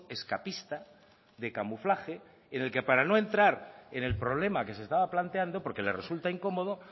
escapista de camuflaje en el que para no entrar en el problema que se estaba planteando porque le resulta incómodo